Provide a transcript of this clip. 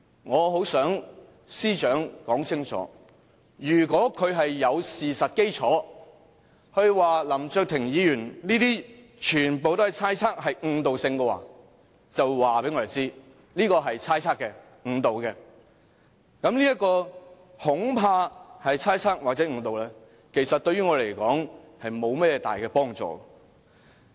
我很想司長說清楚，如果她有事實基礎，指出林卓廷議員說的全部都是猜測、誤導性的說話，就告訴我們這是猜測的、誤導的；如果說，這"恐怕"是猜測或是誤導的，其實對於我們來說並沒有大幫助。